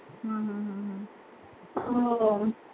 हम्म हम्म हम्म हो